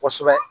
Kosɛbɛ